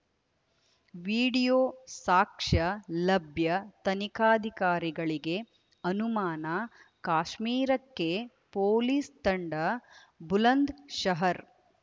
video ಸಾಕ್ಷ್ಯ ಲಭ್ಯ ತನಿಖಾಧಿಕಾರಿಗಳಿಗೆ ಅನುಮಾನ ಕಾಶ್ಮೀರಕ್ಕೆ ಪೊಲೀಸ್‌ ತಂಡ ಬುಲಂದ್‌ಶಹರ್‌